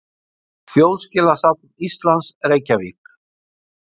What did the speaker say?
Þjóðskjalasafn Íslands, Reykjavík.